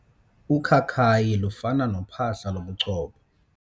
Ukhakayi lufana nophahla lobuchopho.